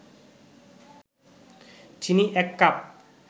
চিনি ১ কাপ